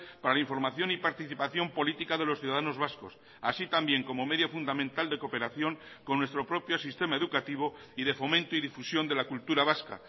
para la información y participación política de los ciudadanos vascos así también como medio fundamental de cooperación con nuestro propio sistema educativo y de fomento y difusión de la cultura vasca